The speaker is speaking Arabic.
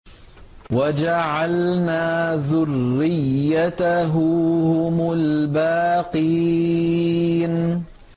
وَجَعَلْنَا ذُرِّيَّتَهُ هُمُ الْبَاقِينَ